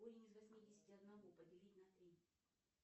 корень из восьмидесяти одного поделить на три